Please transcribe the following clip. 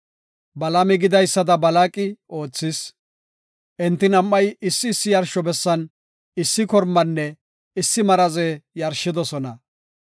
Balaami gidaysada Balaaqi oothis; enti nam7ay issi issi yarsho bessan issi kormanne issi maraze yarshidosona.